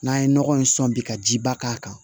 N'an ye nɔgɔ in sɔn bi ka ji ba k'a kan